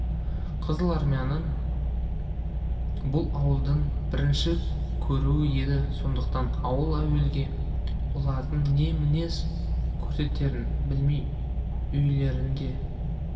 қызыл армияны бұл ауылдың бірінші көруі еді сондықтан ауыл әуелі олардың не мінез көрсетерін білмей үрейленді